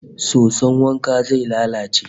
Soson wankan zai lalace